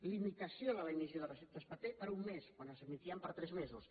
limitació de l’emissió de receptes paper per un mes quan s’admetien per a tres mesos